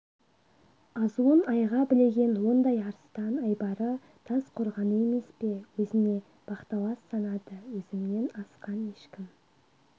азуын айға білеген ондай арыстан айбары тас қорғаны емес пе өзіне бақталас санады өзімнен асқан ешкім